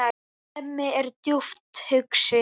Hemmi er djúpt hugsi.